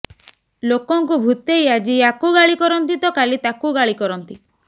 ଲୋକଙ୍କୁ ଭୁତେଇ ଆଜି ୟାକୁ ଗାଳୀକରନ୍ତି ତ କାଲି ତାକୁ ଗାଳୀକରନ୍ତି